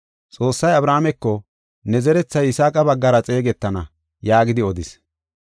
Xoossay Abrahaameko, “Ne kochay Yisaaqa baggara xeegetana” yaagidi odis.